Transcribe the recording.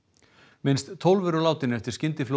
minnst tólf eru látin eftir